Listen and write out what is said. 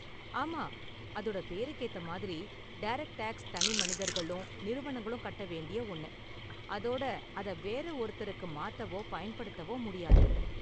ஆமா, அதோட பேருக்கு ஏத்த மாதிரி, டைரக்ட் டேக்ஸ் தனிமனிதர்களும், நிறுவனங்களும் கட்ட வேண்டிய ஒன்னு, அதோட அத வேறு ஒருத்தருக்கு மாத்தவோ பயன்படுத்தவோ முடியாது.